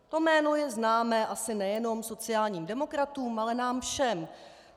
To jméno je známé asi nejenom sociálním demokratům, ale nám všem.